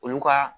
Olu ka